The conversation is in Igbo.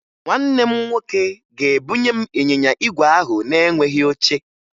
Nwanne m nwoke ga-ebunye m ịnyịnya igwe ahụ na-enweghi oche